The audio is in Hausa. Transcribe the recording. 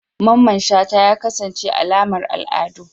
Mamman shata ya kasance alamar al'adu